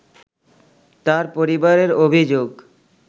তার পরিবারের অভিযোগ